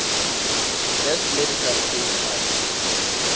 best medical aid funds